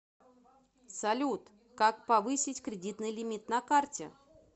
салют как повысить кредитный лимит на карте